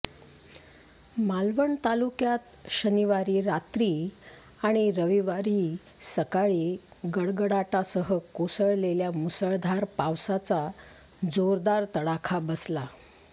मालवण तालुक्यात शनिवारी रात्री आणि रविवारी सकाळी गडगडाटासह कोसळलेल्या मुसळधार पावसाचा जोरदार तडाखा बसला